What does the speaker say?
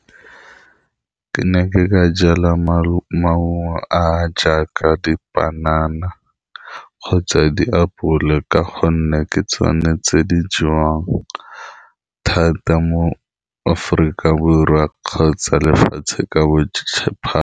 Ke ne ke ka jala maungo maungo a a jaaka dipanana kgotsa diapole ka gonne ke tsone tse di jewang thata mo Aforika Borwa kgotsa lefatshe ka bophara.